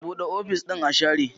Buɗe ofis ɗin a share